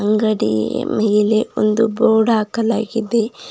ಅಂಗಡಿ ಮೇಲೆ ಒಂದು ಬೋರ್ಡ್ ಹಾಕಲಾಗಿದೆ.